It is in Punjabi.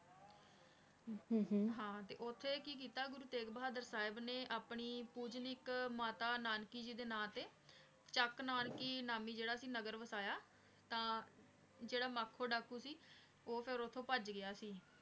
ਹਨ ਹਨ ਹਾਂ ਤੇ ਓਥੇ ਕੀ ਕੀਤਾ ਗੁਰੂ ਤੇਗ ਬਹਾਦੁਰ ਸਾਹਿਬ ਨੇ ਅਪਨੇ ਪੂਜਨੀਕ ਮਾਤਾ ਨਾਨਕੀ ਜੀ ਦੇ ਨਾਮ ਤੇ ਚਕ ਨਾਨਕੀ ਨਾਮੀ ਜੇਰਾ ਸੀ ਨਗਰ ਵਸਾਯਾ ਤਾਂ ਜੇਰਾ ਮਖੋ ਡਾਕੂ ਸੀ ਊ ਫੇਰ ਓਥੁ ਪਾਜ ਗਯਾ ਸੀ